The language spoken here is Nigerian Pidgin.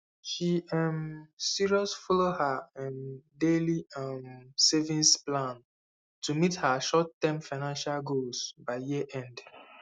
she um serious follow her um daily um savings plan to meet her shortterm financial goals by yearend